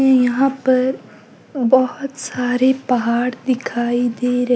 यहां पर बहोत सारे पहाड़ दिखाई दे र--